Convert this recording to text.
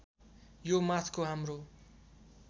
यो माथको हाम्रो